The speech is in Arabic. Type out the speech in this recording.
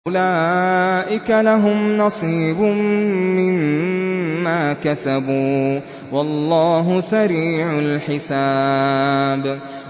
أُولَٰئِكَ لَهُمْ نَصِيبٌ مِّمَّا كَسَبُوا ۚ وَاللَّهُ سَرِيعُ الْحِسَابِ